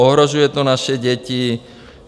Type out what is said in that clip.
Ohrožuje to naše děti.